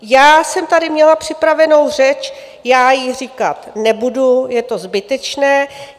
Já jsem tady měla připravenou řeč, já ji říkat nebudu, je to zbytečné.